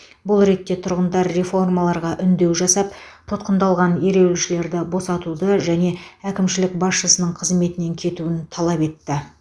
бұл ретте тұрғындар реформаларға үндеу жасап тұтқындалған ереуілшілерді босатуды және әкімшілік басшысының қызметінен кетуін талап етті